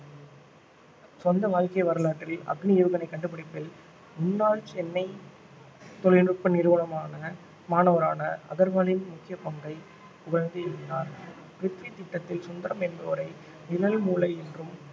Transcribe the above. சொந்த வாழ்க்கை வரலாற்றில் அக்னி ஏவுகணை கண்டுபிடிப்பில் முன்னாள் சென்னை தொழில்நுட்ப நிறுவனமான மாணவரான அகர்வாலின் முக்கிய பங்கை புகழ்ந்து எழுதினார் பிரித்வி திட்டத்தில் சுந்தரம் என்பவரை நிழல் மூளை என்றும்